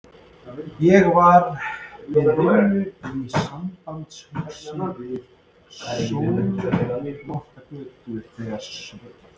Ég var við vinnu í Sambandshúsinu við Sölvhólsgötu þegar Sveinn